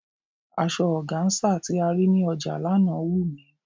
Asọ ọgáńsà tí a rí ní ọjà lánàá wù mí.